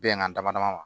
Bɛnkan dama dama ma